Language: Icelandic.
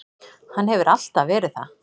Hann hefur alltaf verið það.